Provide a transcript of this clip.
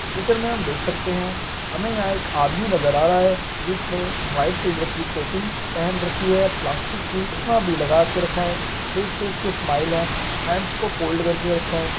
इस मे हम देख सकते है हमे यहाँ एक आदमी नजर आ रहा है जिसने व्हाइट कलर की टोपी पहन रखी है प्लास्टिक की चश्मा भी लगा के रखा है फेस पे उसके स्माइल है हैंड्स को फोल्ड करके रखा है।